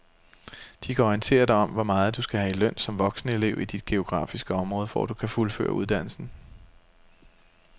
De kan orientere dig om hvor meget du skal have i løn som voksenelev i dit geografiske område, for at du kan fuldføre uddannelsen.